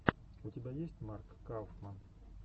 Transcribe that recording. у тебя есть марк кауфман